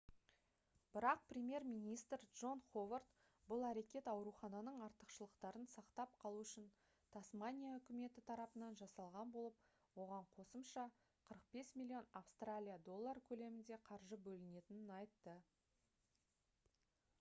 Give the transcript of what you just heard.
бірақ премьер-министр джон ховард бұл әрекет аурухананың артықшылықтарын сақтап қалу үшін тасмания үкіметі тарапынан жасалған болып оған қосымша 45 миллион австралия доллары көлемінде қаржы бөлінетінін айтты